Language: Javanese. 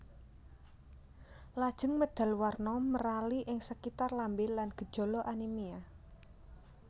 Lajeng medal warna merali ing sekitar lambé lan gejala anémia